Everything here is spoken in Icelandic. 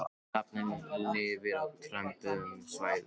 Hrafninn lifir á tempruðum svæðum.